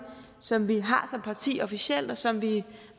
som vi har som parti officielt og som vi